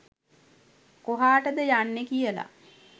කොහාටද යන්නේ කියලා.